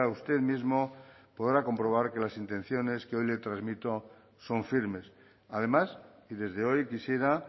usted mismo podrá comprobar que las intenciones que hoy le transmito son firmes además y desde hoy quisiera